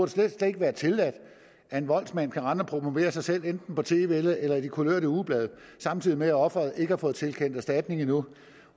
slet slet ikke være tilladt at en voldsmand kan rende og promovere sig selv enten på tv eller i de kulørte ugeblade samtidig med at offeret ikke har fået tilkendt erstatning endnu